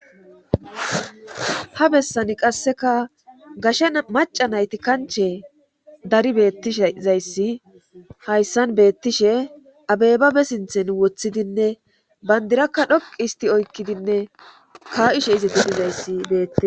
ha bessani qasseka gashe maca nayti kanche dari bettishzayssi hayssan beettishe abebabe sinthen woththidinne bandirakka dhoqi isti oykkidinne ka7ishe iziti izabetti